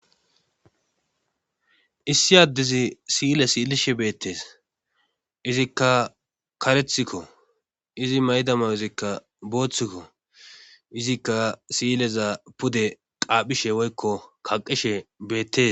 Issi addizi siyile siilishe beettees izikka karethikko izi maydama izikka booththikko izikka siyileza pude qaaphishe woykko kaqishe beettes.